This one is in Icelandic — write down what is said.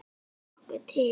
Sérðu nokkuð til?